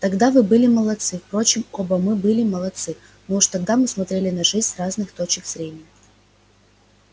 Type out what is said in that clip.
тогда вы были молодцы впрочем оба мы были молодцы но уже тогда мы смотрели на жизнь с разных точек зрения